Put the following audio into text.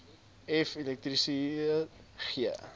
f elektriese g